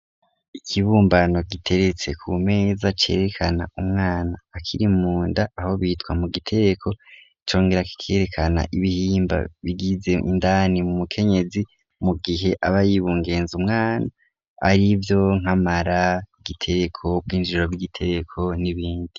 Ikibumbano, giteretse ku meza, cerekana umwana akiri mu nda, aho bitwa mu gitereko; congera kikerekana, ibihimba bigize indani, mu mukenyezi, mu gihe aba yibungenze umwana, arivyo nk'amara, igitereko, ubwinjiriro bw'igitereko, n'ibindi.